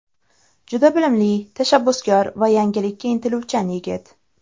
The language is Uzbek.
Juda bilimli, tashabbuskor va yangilikka intiluvchan yigit.